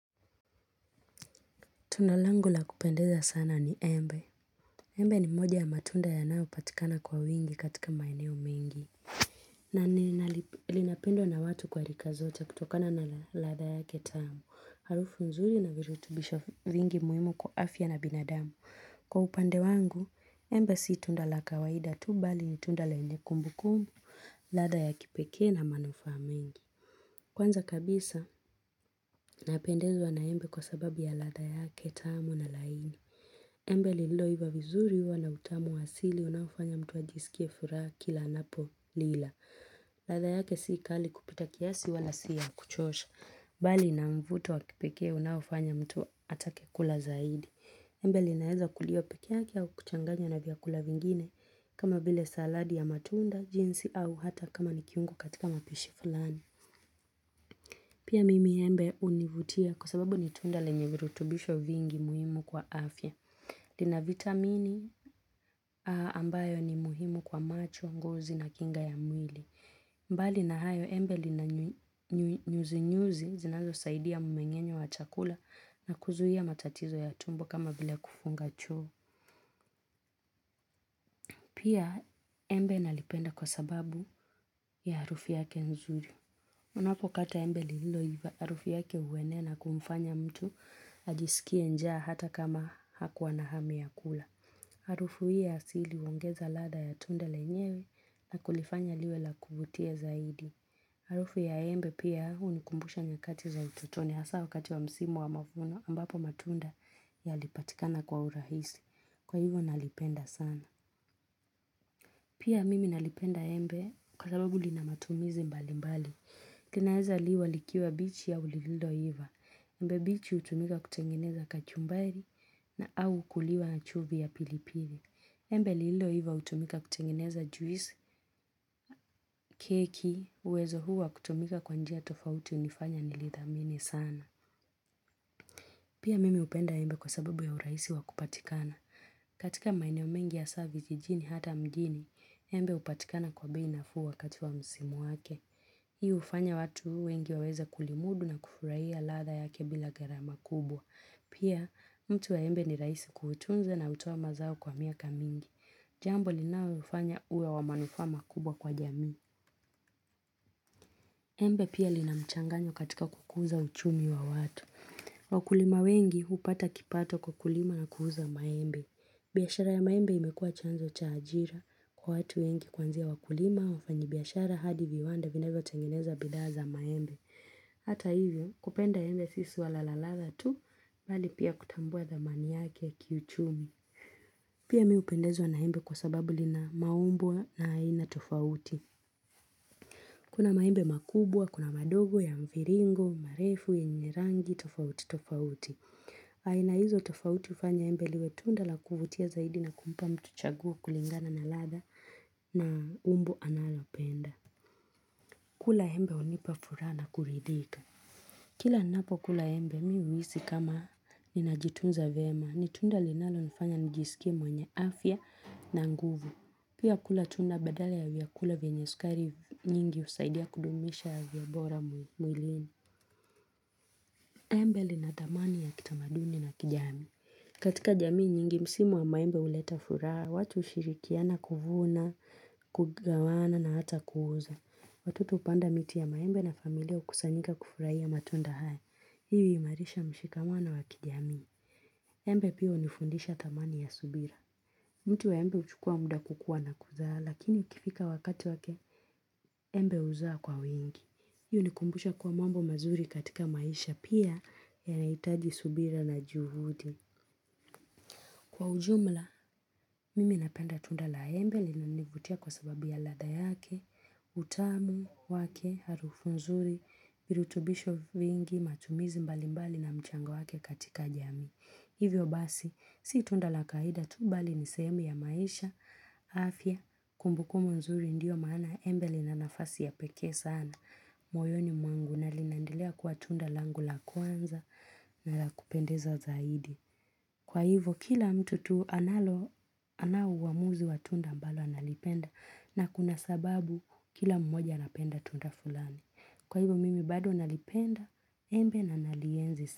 Tunda langu la kupendeza sana ni embe. Embe ni moja ya matunda yanayo patikana kwa wingi katika maeneo mengi. Na linapendwa na watu wa rika zote kutokana na ladha yake tamu. Harufu mzuri na virutubisho vingi muhimu kwa afya na binadamu. Kwa upande wangu, embe si tunda la kawaida tu, mbali ni tunda lenye kumbukumbu, ladha ya kipekee na manufaa mengi. Kwanza kabisa, napendezwa na embe kwa sababu ya ladha yake tamu na laini. Embe liloiva vizuri huwa na utamu wa asili unaofanya mtu wa ajisikie furaha kila anapolila. Ladha yake si kali kupita kiasi wala si ya kuchosha. Mbali na mvuto wa kipekee unaofanya mtu atake kula zaidi. Embe linaweza kuliwa peke yake au kuchanganya na vyakula vingine kama vile saladi ya matunda, jinsi, au hata kama ni kiungo katika mapishi fulani. Pia mimi embe hunivutia kwa sababu ni tunda lenye virutubisho vingi muhimu kwa afya. Lina vitamini ambayo ni muhimu kwa macho, ngozi na kinga ya mwili. Mbali na hayo embe lina nyuzi-nyuzi zinazo saidia mmengenyo wa chakula na kuzuia matatizo ya tumbo kama bila kufunga choo. Pia embe nalipenda kwa sababu ya harufu yake nzuri. Unapokata embe liloiva harufu yake huenea na kumfanya mtu ajisikie njaa hata kama hakuwa na hamu ya kula. Harufu hii ya asili huongeza lada ya tunda lenyewe na kulifanya liwe la kuvutia zaidi. Harufu ya embe pia hunikumbusha nyakati za ututoni hasa wakati wa msimu wa mavuno ambapo matunda yalipatikana kwa urahisi. Kwa hivyo nalipenda sana. Pia mimi nalipenda embe kwa sababu linamatumizi mbali mbali. Linaweza liwa likiwa mbichi au lililoiva. Embe mbichi hutumika kutengeneza kachumbari au kuliwa na chumvi ya pilipili. Embe lililoiva hutumika kutengeneza juici, keki, uwezo huu wa kutumika kwa njia tofauti hunifanya nilithamini sana. Pia mimi hupenda embe kwa sababu ya urahisi wakupatikana. Katika maeneo mengi hasa vijijini hata mjini, embe hupatikana kwa bei nafuu wakati wa msimu wake. Hii hufanya watu wengi waweza kulimudu na kufurahia ladha yake bila gharama kubwa. Pia mti wa embe ni rahisi kuutunza na hutoa mazao kwa miaka mingi. Jambo linalo ufanya uwe wa manufama kubwa kwa jami. Embe pia linamchanganyo katika kukuza uchumi wa watu. Wakulima wengi hupata kipato kukulima na kuuza maembe. Biashara ya maembe imekua chanzo cha ajira kwa watu wengi kuanzia wakulima wafanyi biashara, hadi viwanda vinavyo tengeneza bidhaa za maembe. Hata hivyo, kupenda embe si swala la lala tu, mbali pia kutambua thamani yake ya kiuchumi. Pia mimi hupendezwa na embe kwa sababu linamaumbo ya aina tofauti. Kuna maembe makubwa, kuna mandogo, ya mviringo, marefu yenye rangi, tofauti, tofauti. Aina hizo tofauti hufanya embe liwe tunda la kuvutia zaidi na kumpa mtu chaguo kulingana na ladha na umbo analopenda kula embe hunipa furaha na kuridhika Kila ninapo kula embe mimi huhisi kama ninajitunza vyema, ni tunda linalonifanya nijisikie mwenye afya na nguvu Pia kula tunda badala ya vyakula venye sukari nyingi, husaidia kudumisha afya bora mwilini. Embe lina thamani ya kitamaduni na kijamii. Katika jamii nyingi, msimu wa maembe huleta furaha, watu hushirikiana kuvuna, kugawana na hata kuuza. Watu hupanda miti ya maembe na familia hukusanyika kufurahia matunda haya. Hii huimarisha mshikamano wa kijamii Embe pia hunifundisha thamani ya subira. Mti wa maembe huchukua muda kukua na kuzaa, lakini ukifika wakati wake, embe huzaaa kwa wingi. Hii hunikumbusha kuwa mambo mazuri katika maisha, pia, yanahitaji subira na juhudi. Kwa ujumla, mimi napenda tunda la embe, linanivutia kwa sababu ya ladhaa yake, utamu wake, harufu nzuri, rutubisho nyingi, matumizi mbali mbali na mchango wake katika jamii. Hivyo basi, si tunda la kawaida tu, mbali ni sehemu ya maisha, afya, kumbukumbu mzuri, ndiyo maana embe linanafasi ya peke sana moyoni mwangu, na linandelea kuwa tunda langu la kwanza na lakupendeza zaidi. Kwa hivo kila mtu tu anaouamuzi wa tunda mbalo analipenda na kuna sababu kila mmoja anapenda tunda fulani. Kwa hivo mimi bado nanalipenda, embe na nalienzi.